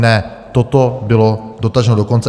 Ne, toto bylo dotaženo do konce.